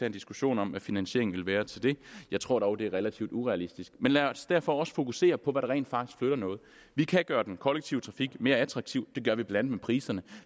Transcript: en diskussion om hvad finansieringen ville være til det jeg tror dog det er relativt urealistisk men lad os derfor også fokusere på hvad der rent faktisk flytter noget vi kan gøre den kollektive trafik mere attraktiv det gør vi blandt andet med priserne